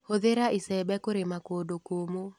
Hũthĩra icembe kũrĩma kũndũ kũmũ.